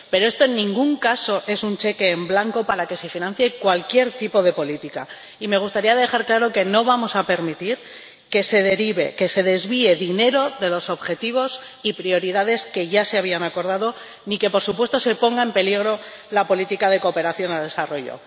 Pero esto en ningún caso es un cheque en blanco para que se financie cualquier tipo de política, y me gustaría dejar claro que no vamos a permitir que desvíe dinero de los objetivos y prioridades que ya se habían acordado ni que, por supuesto, se ponga en peligro la política de cooperación al desarrollo.